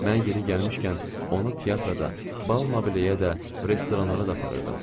Mən yeri gəlmişkən, onu teatrda da, bal mobilyəyə də, restoranlara da aparırdım.